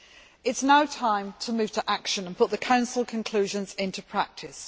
It is now time to move to action and put the Council conclusions into practice.